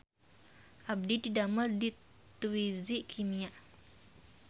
Abdi didamel di Twiji Kimia